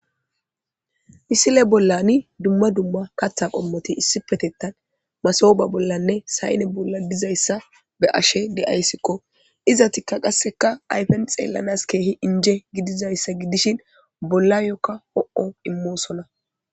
Misile bollani dumma dumma katha qommoti issi petettan masooba bollanne sayne bolla dizayssa be ashe de'ayssikko izatikka qasseka ayfen xeellanas keehi inje gidizayssa gidishin bolla yookka ho'o immoosona